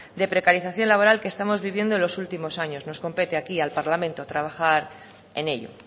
de precarización laboral que estamos viviendo en los últimos años nos compete aquí al parlamento a trabajar en ello